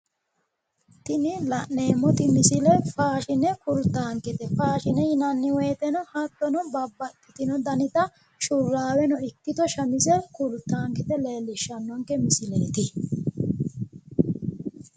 Tini la'neemmoti misile faashine kultankete faashine yinanni woyiiteno hattono babbaxxino danita shurraabeno ikkito shamize kultankete leellishshannonke misileeti.